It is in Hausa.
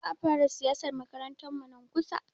Za a fara siyasar makarantarmu nan kusa.